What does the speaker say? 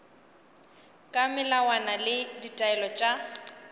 ka melawana le ditaelo tša